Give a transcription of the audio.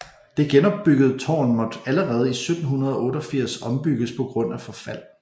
Det genopbyggede tårn måtte allerede i 1788 ombygges på grund af forfald